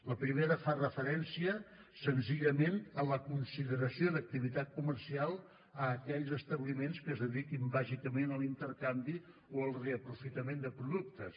la primera fa referència senzillament a la consideració d’activitat comercial a aquells establiments que es dediquin bàsicament a l’intercanvi o al reaprofitament de productes